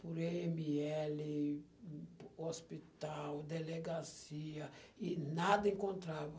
Por i eme ele, hospital, delegacia, e nada encontrava.